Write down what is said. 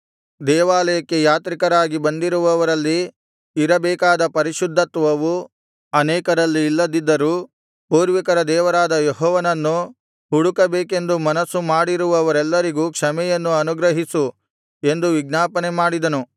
ದೇವಾಲಯಕ್ಕೆ ಯಾತ್ರಿಕರಾಗಿ ಬಂದಿರುವವರಲ್ಲಿ ಇರಬೇಕಾದ ಪರಿಶುದ್ಧತ್ವವು ಅನೇಕರಲ್ಲಿ ಇಲ್ಲದಿದ್ದರೂ ಪೂರ್ವಿಕರ ದೇವರಾದ ಯೆಹೋವನನ್ನು ಹುಡುಕಬೇಕೆಂದು ಮನಸ್ಸುಮಾಡಿರುವವರಿಗೆಲ್ಲರಿಗೂ ಕ್ಷಮೆಯನ್ನು ಅನುಗ್ರಹಿಸು ಎಂದು ವಿಜ್ಞಾಪನೆ ಮಾಡಿದನು